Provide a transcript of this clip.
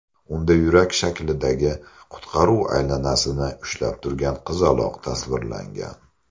Unda yurak shaklidagi qutqaruv aylanasini ushlab turgan qizaloq tasvirlangan.